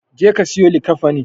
Jeka ka siyo likkafanin.